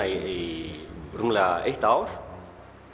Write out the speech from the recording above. í rúmleg eitt ár